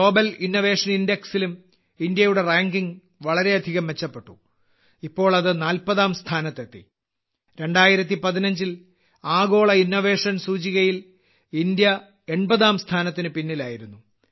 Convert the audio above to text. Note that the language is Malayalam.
ഗ്ലോബൽ ഇന്നൊവേഷൻ ഇൻഡക്സിലും ഇന്ത്യയുടെ റാങ്കിംഗ് വളരെയധികം മെച്ചപ്പെട്ടു ഇപ്പോൾ അത് 40ാം സ്ഥാനത്തെത്തി 2015ൽ ആഗോള ഇന്നൊവേഷൻ സൂചികയിൽ ഇന്ത്യ 80ാം സ്ഥാനത്തിന് പിന്നിലായിരുന്നു